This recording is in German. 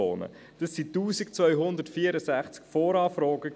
Dabei handelte es sich um 1264 Voranfragen.